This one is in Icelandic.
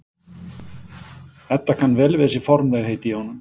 Edda kann vel við þessi formlegheit í honum.